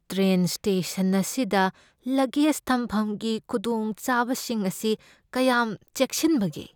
Train station ꯑꯁꯤꯗ luggage ꯊꯝꯐꯝꯒꯤ ꯈꯨꯗꯣꯡꯆꯥꯕꯁꯤꯡ ꯑꯁꯤ ꯀꯌꯥꯝ ꯆꯦꯛꯁꯤꯟꯕꯒꯦ?